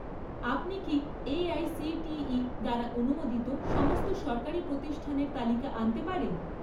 আপনি কি এআইসিটিই দ্বারা অনুমোদিত সমস্ত সরকারি প্রতিষ্ঠানের তালিকা আনতে পারেন?